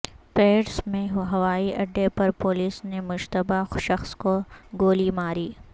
Paris میں ہوائی اڈے پر پولیس نے مشتبہ شخص کو گولی ماری